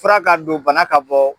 Fura ka don bana ka bɔ